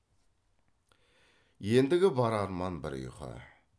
ендігі бар арман бір ұйқы